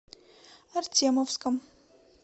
артемовском